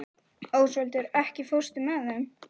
Ósvaldur, ekki fórstu með þeim?